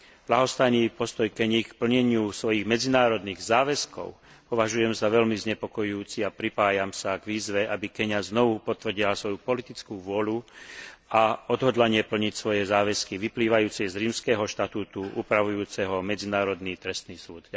Ľahostajný postoj Keni k plneniu svojich medzinárodných záväzkov považujem za veľmi znepokojujúci a pripájam sa k výzve, aby Keňa znovu potvrdila svoju politickú vôľu a odhodlanie plniť svoje záväzky vyplývajúce z Rímskeho štatútu upravujúceho Medzinárodný trestný súd.